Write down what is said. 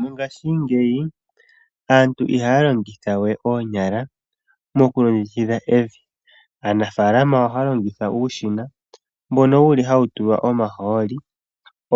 Mongaashingeyi aantu i haya longitha we oonyala mokukongekidha evi. Aanafaalama ohaya longitha uushina mbono wuli hawu tulwa omahooli